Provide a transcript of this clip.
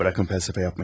Buraxın fəlsəfə yapmayın.